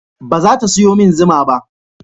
Ba za ta sayo min zuma ba